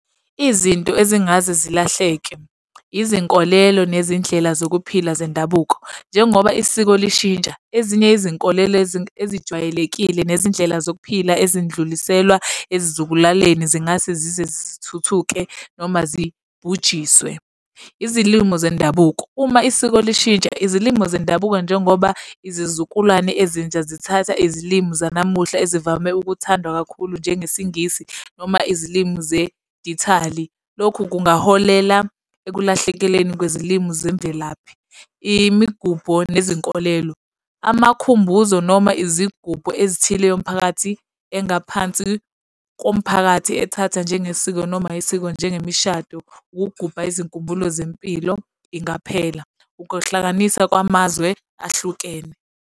Izinto ezingaze zilahleke, izinkolelo nezindlela zokuphila zendabuko. Njengoba isiko lishintsha ezinye izinkolelo ezijwayelekile nezindlela zokuphila ezindluliselwa ezizukulwaneni zingase zize zithuthuke noma zibhujiswe. Izilimo zendabuko. Uma isiko lishintsha izilimo zendabuko njengoba izizukulwane ezintsha zithatha izilimu zanamuhla ezivame ukuthandwa kakhulu njengesiNgisi noma izilimi zedithali. Lokhu kungaholela ekulahlekeleni kwezilimi nemvelaphi. Imigubho nezinkolelo. Amakhumbuzo noma izigubhu ezithile yomphakathi engaphansi komphakathi ethatha njengesiko noma isiko njengemishado. Ukugubha izinkumbulo zempilo ingaphela. Ukuhlanganisa kwamazwe ahlukene.